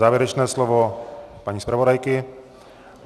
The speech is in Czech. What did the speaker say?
Závěrečné slovo paní zpravodajky?